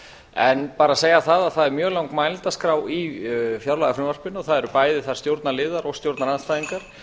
en bara að segja það að það er mjög löng mælendaskrá í fjárlagafrumvarpinu og það eru bæði þar stjórnarliðar og stjórnarandstæðingar